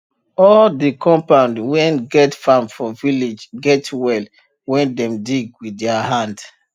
all de compound wen get farm for village get well wen dem dig wit dier hand